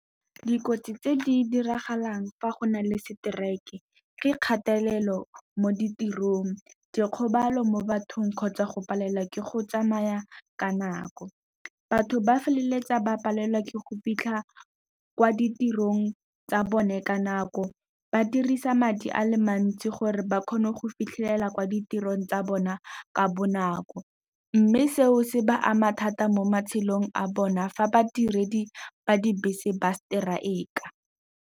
Dikotsi tse di diragalang fa go na le strike ke kgatelelo mo ditirong, dikgobalo mo bathong kgotsa go palelwa ke go tsamaya ka nako. Batho ba feleletsa ba palelwa ke go fitlha kwa ditirong tsa bone ka nako, ba dirisa madi a le mantsi gore ba kgone go fitlhelela kwa ditirong tsa bona ka bonako. Mme seo se ba ama thata mo matshelong a bona fa badiredi ba dibese ba strike-a.